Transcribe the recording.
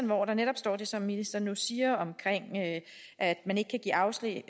hvor der netop står det som ministeren nu siger om at man ikke kan give afslag